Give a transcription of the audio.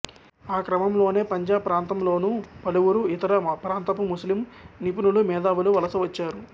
ఆ క్రమంలోనే పంజాబ్ ప్రాంతంలోనూ పలువురు ఇతర ప్రాంతపు ముస్లిం నిపుణులు మేధావులు వలసవచ్చారు